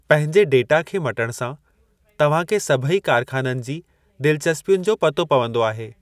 पंहिंजे डेटा खे मटणु सां, तव्हां खे सभेई कारख़ाननि जी दिलचस्पियुनि जो पतो पवंदो आहे।